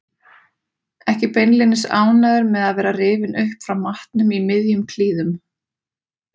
Ekki beinlínis ánægður með að vera rifinn upp frá matnum í miðjum klíðum.